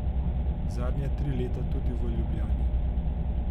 Zadnja tri leta tudi v Ljubljani.